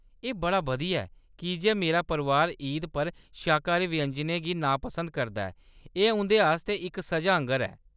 एह्‌‌ बड़ा बधिया ऐ, कीजे मेरा परोआर ईदा पर शाकाहारी व्यंजनें गी नापसंद करदा ऐ ; एह्‌‌ उं’दे आस्तै इक सʼजा आंह्‌गर ऐ।